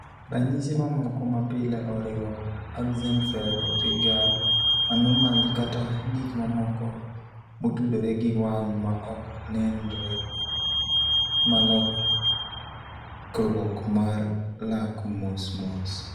Ranyisi mamoko mapile oriwo: Axenfeld Rieger anomaly kata gik mamoko motudore gi wang' ma ok nenre Malokruok mar lak mosmos.